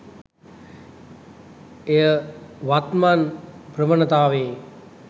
එය වත්මන් ප්‍රවනතාවයෙ